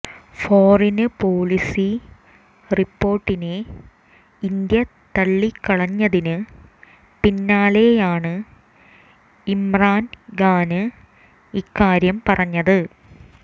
ഫോറിന് policy റിപ്പോര്ട്ടിനെ India തള്ളിക്കളഞ്ഞതിന് പിന്നാലെയാണ് ഇമ്രാന് ഖാന് ഇക്കാര്യം പറഞ്ഞത്